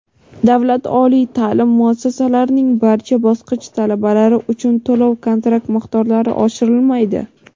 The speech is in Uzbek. Davlat oliy ta’lim muassasalarining barcha bosqich talabalari uchun to‘lov-kontrakt miqdorlari oshirilmaydi!.